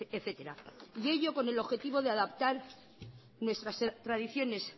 etcétera y ello con el objetivo de adaptar nuestra tradiciones